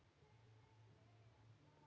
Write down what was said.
segir svo